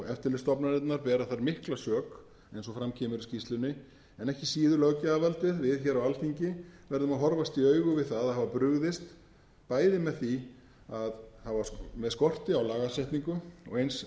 eftirlitsstofnanirnar bera þar mikla sök eins og fram kemur í skýrslunni en ekki síður löggjafarvaldið við hér á alþingi verðum að horfast í augu við það að hafa brugðist bæði með skorti á lagasetningum og eins